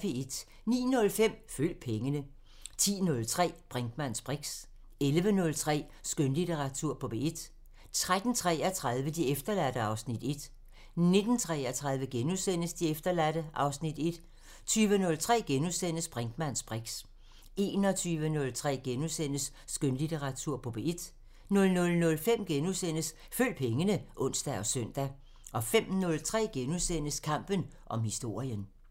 09:05: Følg pengene 10:03: Brinkmanns briks 11:03: Skønlitteratur på P1 13:33: De efterladte (Afs. 1) 19:33: De efterladte (Afs. 1)* 20:03: Brinkmanns briks * 21:03: Skønlitteratur på P1 * 00:05: Følg pengene *(ons og søn) 05:03: Kampen om historien *